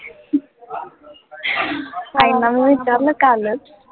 आईंना मी विचारलं कालचं